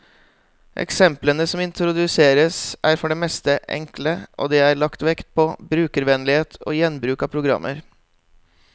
Eksemplene som introduseres, er for det meste enkle, og det er lagt vekt på brukervennlighet og gjenbruk av programmer.